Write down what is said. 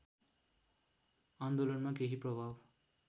आन्दोलनमा केही प्रभाव